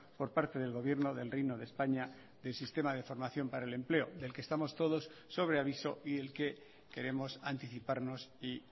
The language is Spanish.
por parte del gobierno del reino de españa del sistema de formación para el empleo del que estamos todos sobre aviso y el que queremos anticiparnos y